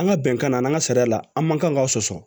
An ka bɛnkan na an ka sariya la an man kan ka sɔsɔ